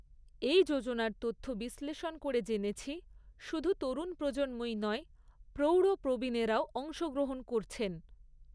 এই যোজনার তথ্য বিশ্লেষণ করে জেনেছি, শুধু তরুণ প্রজন্মই নয়, প্রৌঢ় প্রবীণেরাও অংশগ্রহণ করছেন।